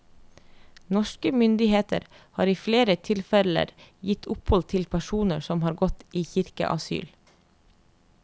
Norske myndigheter har i flere tilfeller gitt opphold til personer som har gått i kirkeasyl.